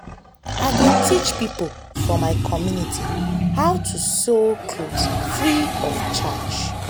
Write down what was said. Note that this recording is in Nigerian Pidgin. i go teach pipo for my community how to sew clothe free of charge.